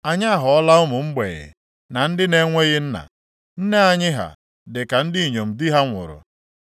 Anyị aghọọla ụmụ mgbei, na ndị na-enweghị nna. Nne anyị ha dị ka ndị inyom di ha nwụrụ.